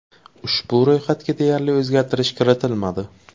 Ushbu ro‘yxatga deyarli o‘zgartirish kiritilmadi.